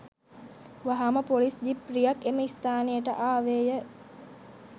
වහාම police jeep රියක් එම ස්ථානයට ආවේය